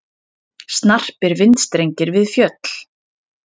Snarpir vindstrengir við fjöll